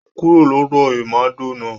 Kúrò lọ́dọ̀ ìmàdò náà